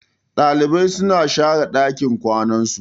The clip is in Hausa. Ɗalibai na share ɗakin kwanan su.